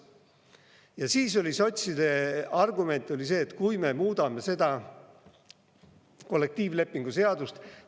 Ja siis oli sotside argument see, et kui me muudame seda kollektiivlepingu seadust …